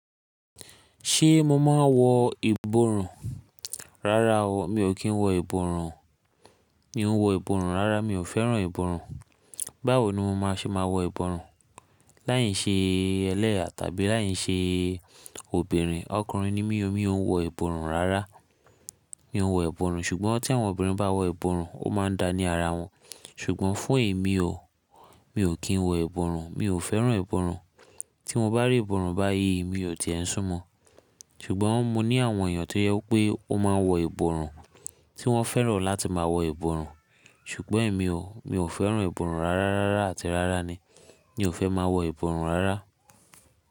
Ṣé mo máa ń wọ ìborùn? Rárá o, mi ò kí ń wọ ìborùn. Mi ò ń wọ ìborùn rárá, mi ò fẹ́ràn ìborùn. Báwo ni mo màá ṣe máa wọ ìborùn? Láì ṣe ẹlẹ́hà tàbí láì ṣe obìnrin. Ọkùnrin ni mí o, mi ò ń wọ ìborùn rárá. Mi ò ń wọ ìborùn, ṣùgbọ́n tí àwọn obìnrin bá wọ ìborùn, ó máa ń da ní ara wọn. Ṣùgbọ́n fún èmi o, mi ò kí ń wọ ìborùn, mi ò fẹ́ràn ìborùn. Tí mo bá rí ìborùn báyìí mi ò tiẹ̀ n súnmọ́. Ṣùgbọ́n mo ní àwọn èèyàn tó yẹ pé wọ́n máa ń wọ ìborùn, tí wọ́n fẹ́ràn láti máa wọ ìborùn. Ṣùgbọ́n èmi o, mi ò fẹ́ràn ìborùn rárá rárá àti rárá ni, mi ò fẹ́ máa wọ ìborùn rárá.